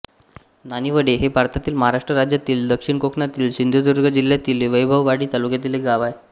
नानिवडे हे भारतातील महाराष्ट्र राज्यातील दक्षिण कोकणातील सिंधुदुर्ग जिल्ह्यातील वैभववाडी तालुक्यातील एक गाव आहे